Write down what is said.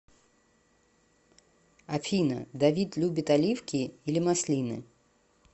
афина давид любит оливки или маслины